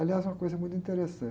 Aliás, uma coisa muito interessante.